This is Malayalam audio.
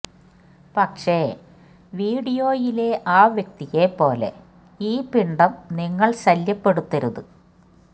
പക്ഷെ വീഡിയോയിലെ ആ വ്യക്തിയെ പോലെ ഈ പിണ്ഡം നിങ്ങൾ ശല്യപ്പെടുത്തരുത്